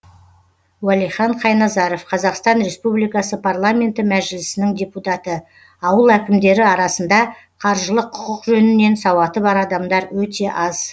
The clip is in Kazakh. уәлихан қайназаров қазақстан республикасы парламенті мәжілісінің депутаты ауыл әкімдері арасында қаржылық құқық жөнінен сауаты бар адамдар өте аз